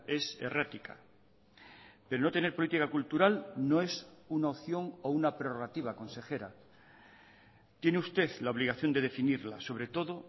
es errática pero no tener política cultural no es una opción o una prerrogativa consejera tiene usted la obligación de definirla sobre todo